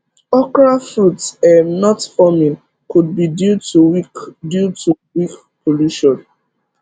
okra fruit um not forming could be due to weak due to weak pollution